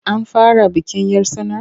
An fara bikin 'yar tsanar?